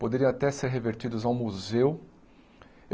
Poderiam até ser revertidos ao museu.